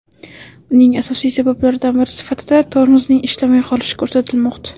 Uning asosiy sabablaridan biri sifatida tormozning ishlamay qolishi ko‘rsatilmoqda.